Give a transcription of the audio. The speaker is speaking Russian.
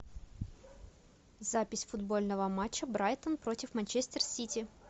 запись футбольного матча брайтон против манчестер сити